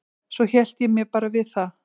Svo hélt ég mér bara við það.